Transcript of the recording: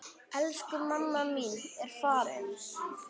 Elsku mamma mín er farin.